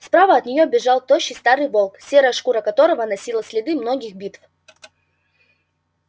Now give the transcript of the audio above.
справа от неё бежал тощий старый волк серая шкура которого носила следы многих битв